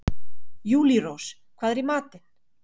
Júlírós, hvað er í matinn?